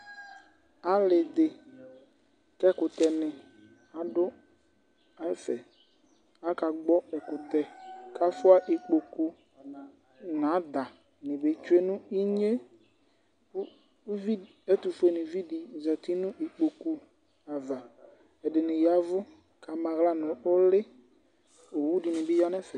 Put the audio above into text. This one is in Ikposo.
Ali dì ku ɛkutɛ adù ɛfɛ, k'aka gbɔ ɛkutɛ, k'afua ikpoku n'adà ni be tsue nu inyé ku uvi di, ɛtufue nivi di zati nu ikpoku di ava, ɛdini yavù k'ama aɣla nu ulì, owúdini bi ya nu ɛfɛ